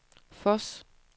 Voss